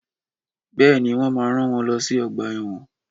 Bèéní, wọ́n máa rán wọn lọ sí ọgbà ẹ̀wọ̀n.